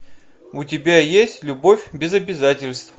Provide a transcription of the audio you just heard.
у тебя есть любовь без обязательств